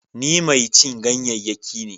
Ni mai cin ganyayyaki ne.